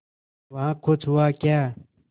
वहाँ कुछ हुआ क्या